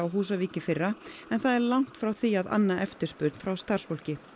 Húsavík í fyrra en það er langt frá því að anna eftirspurn frá starfsfólki